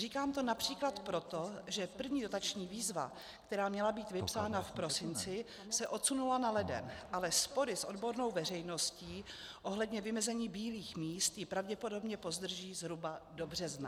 Říkám to například proto, že první dotační výzva, která měla být vypsána v prosinci, se odsunula na leden, ale spory s odbornou veřejností ohledně vymezení bílých míst ji pravděpodobně pozdrží zhruba do března.